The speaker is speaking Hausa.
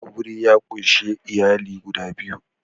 Aure ya ƙunshi iyali guda biyu